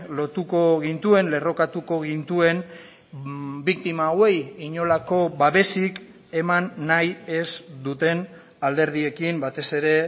lotuko gintuen lerrokatuko gintuen biktima hauei inolako babesik eman nahi ez duten alderdiekin batez ere